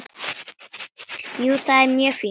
Jú, það er mjög fínt.